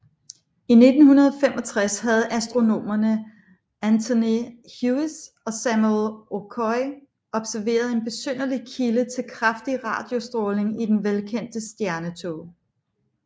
I 1965 havde astronomerne Antony Hewish og Samuel Okoye observeret en besynderlig kilde til kraftig radiostråling i den velkendte stjernetåge